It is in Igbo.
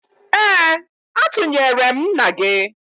Ee, atụnyere m nna gị